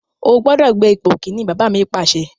O gbọ́dọ̀ gbé ipò Kínní! Bàbá mi Pàṣẹ.